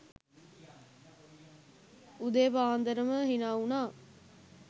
උදේ පාන්දරම හිනා උනා